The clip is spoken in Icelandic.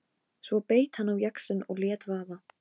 Svo beit hann á jaxlinn og lét vaða.